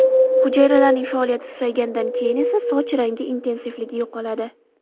Hujayralarning faoliyati susayganidan keyin esa soch rangi intensivligi yo‘qoladi.